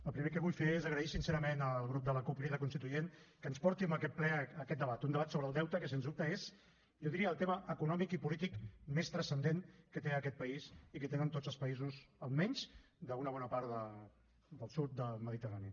el primer que vull fer és agrair sincerament al grup de la cup crida constituent que ens porti a aquest ple aquest debat un debat sobre el deute que sens dubte és jo diria el tema econòmic i polític més transcendent que té aquest país i que tenen tots els països almenys d’una bona part del sud del mediterrani